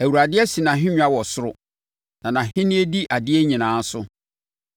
Awurade asi nʼahennwa wɔ soro, na nʼahennie di adeɛ nyinaa so.